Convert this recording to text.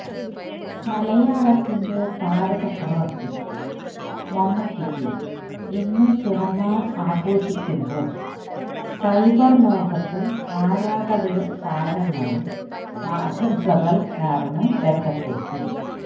മലയാളത്തിന്റെ താര ചക്രവർത്തി മമ്മൂട്ടിക്ക് ഇന്ന് പിറന്നാൾ ആഘോഷിക്കുമ്പോൾ സൈബർ ലോകത്ത് ആരാധകരും താരങ്ങളും ആശംസകൾ നേർന്ന് രംഗത്തെത്തി